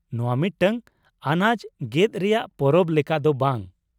ᱱᱚᱶᱟ ᱢᱤᱫᱴᱟᱝ ᱟᱱᱟᱡ ᱜᱮᱫ ᱨᱮᱭᱟᱜ ᱯᱚᱨᱚᱵ ᱞᱮᱠᱟ ᱫᱚ ᱵᱟᱝ ?